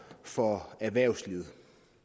for erhvervslivet